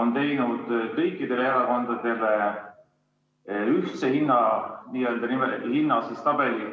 on teinud kõikidele erakondadele ühtse n-ö hinnatabeli?